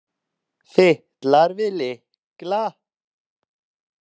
Fitlar við lykla.